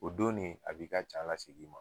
O don ne a b'i ka ca lasegin ma